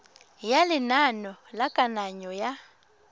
ya lenane la kananyo ya